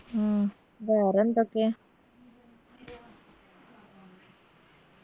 ഉം വേറെന്തൊക്കെ